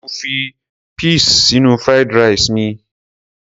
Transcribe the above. Mo fi peas sínú fried rice mi.